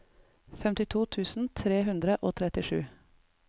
femtito tusen tre hundre og trettisju